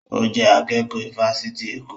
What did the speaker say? Ó jẹ́ akẹ́kọ̀ọ́ ifásitì Èkó